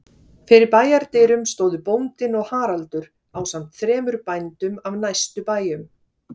Fyrir bæjardyrum stóðu bóndinn og Haraldur ásamt þremur bændum af næstu bæjum.